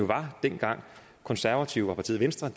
der dengang konservative og partiet venstre